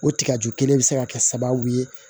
O tiga ju kelen bɛ se ka kɛ sababu ye